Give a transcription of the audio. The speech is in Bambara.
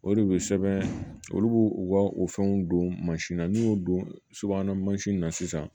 O de bɛ sɛbɛn olu b'o u ka o fɛnw don mansin na n'u y'o don subahana mansin na sisan